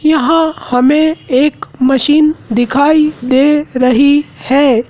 यहां हमें एक मशीन दिखाई दे रही है।